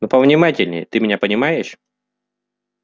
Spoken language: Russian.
но повнимательнее ты меня понимаешь